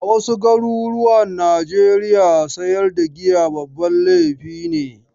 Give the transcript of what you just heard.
A wasu garuruwa Najeriya sayar da giya babban laifi ne.